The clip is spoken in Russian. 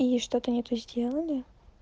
и что-то не то сделали